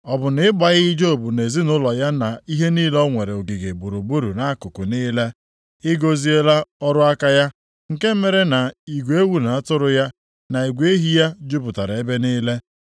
Ọ bụ na ị gbaghị Job na ezinaụlọ ya na ihe niile o nwere ogige gburugburu nʼakụkụ niile? I gọziela ọrụ aka ya, nke mere na igwe ewu na atụrụ ya na igwe ehi ya jupụtara ebe niile.